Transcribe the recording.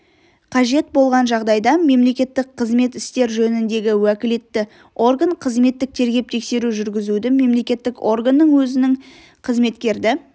қажет болған жағдайда мемлекеттік қызмет істер жөніндегі уәкілетті орган қызметтік тергеп-тексеру жүргізуді мемлекеттік органның өзінің қызметкерді